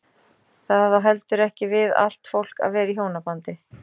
Það á heldur ekki við allt fólk að vera í hjónabandi.